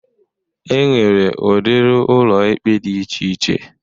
E nwere udiri ụlọikpe dị iche iche.